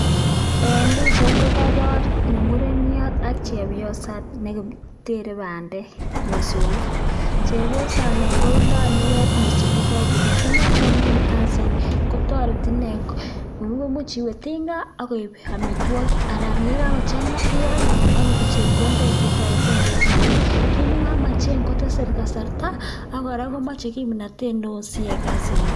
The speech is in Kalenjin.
En pichait kokobor me mureniot ak chebioset netere bandek, mosong'ik, chebiosani Kondo kinuet mosongik chekokobir, kiit nochomen kasini kotoreti inee imuch iwee tinga ak koib amitwokik anan yekakochanga ialde ak isich chepkondoik chetoreteng'e en sobet, kiit nemomochen kotese kasarta ak kora komoche kimnotet neoo siyai kasini.